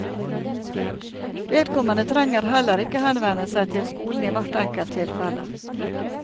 Vedkommende trenger heller ikke henvende seg til skolen i hvert enkelt tilfelle.